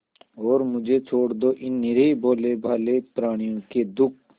और मुझे छोड़ दो इन निरीह भोलेभाले प्रणियों के दुख